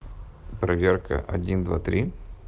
проверка один два три